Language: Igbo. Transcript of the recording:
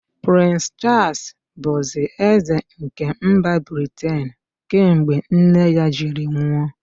Prịns Chaals bụzi ézē nke mba Briten kemgbe nne ya jiri nwụ.